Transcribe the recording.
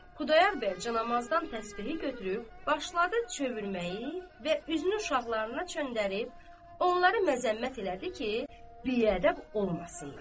Xudayar bəy canamazdan təsbehi götürüb başladı çökməyi və üzünü uşaqlarına çevirib, onları məzəmmət elədi ki, biədəb olmasınlar.